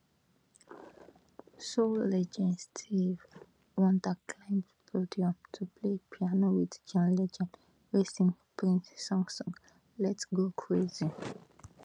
soul legend stevie wonder climb podium to play piano wit john legend wey sing prince song song lets go crazy